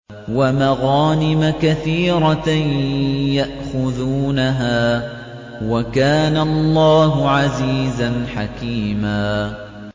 وَمَغَانِمَ كَثِيرَةً يَأْخُذُونَهَا ۗ وَكَانَ اللَّهُ عَزِيزًا حَكِيمًا